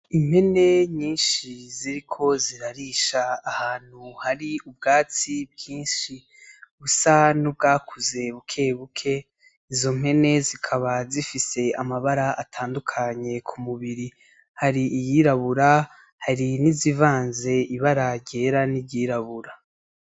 Impene nyinshi ziriko zirarisha ahantu hari ubwatsi bwinshi busa n'ubwakuze bukebuke, izo mpene zikaba zifise amabara atandukanye ku mubiri, hari iyirabura hari n'izivanze ibara ryera niry'irabura.